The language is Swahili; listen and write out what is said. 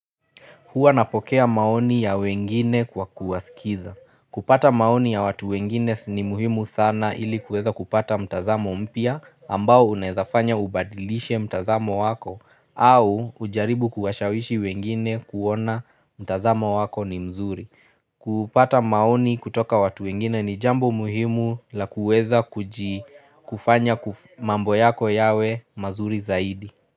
Hua napokea maoni ya wengine kwa kuwasikiza. Kupata maoni ya watu wengine ni muhimu sana ili kuweza kupata mtazamo mpia ambao unaezafanya ubadilishe mtazamo wako au ujaribu kuwashawishi wengine kuona mtazamo wako ni mzuri. Kupata maoni kutoka watu wengine ni jambo muhimu la kuweza kufanya mambo yako yawe mazuri zaidi.